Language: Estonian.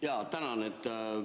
Jaa, tänan!